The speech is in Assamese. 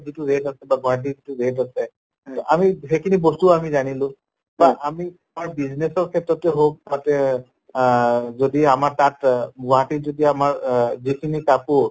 যিটো rate আছে বা গুৱাহাটীৰ যিটো rate আছে আমি সেইখিনি বস্তুও আমি জানিলো বা আমি তাৰ business ৰ ক্ষেত্ৰতে হওঁক তাতে আহ যদি আমাৰ তাত অ গুৱাহাটীত যদি আমাৰ অহ যিখিনি কাপোৰ